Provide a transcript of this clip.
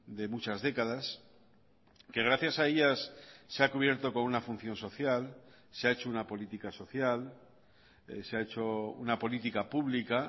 de muchas décadas que gracias a ellas se ha cubierto con una función social se ha hecho una política social se ha hecho una política pública